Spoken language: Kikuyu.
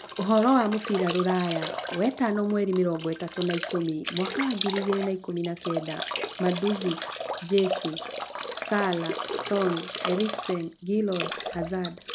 Ũhoro wa mũbira rũraya wetano mweri mĩrongo ĩtatũ wa-ikũmi mwaka wa ngiri igĩrĩ na ikũmi na kenda: Mandzukic, Jesus, Salah, Son, Eriksen, Giroud, Hazard